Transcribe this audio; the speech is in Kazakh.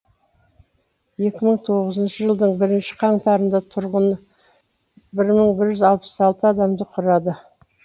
екі мың тоғызыншы жылдың бірінші қаңтарында тұрғыны бір мың бір жүз алпыс алты адамды құрады